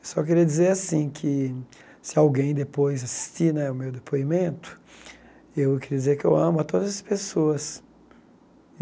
Eu só queria dizer assim, que se alguém depois assistir né o meu depoimento, eu queria dizer que eu amo a todas as pessoas.